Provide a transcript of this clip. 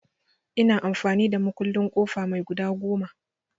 Ina amfani da mukullin ƙofa mai guda goma.